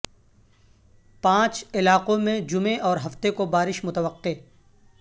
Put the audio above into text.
پانچ علاقوں میں جمعے اور ہفتے کو بارش متوقع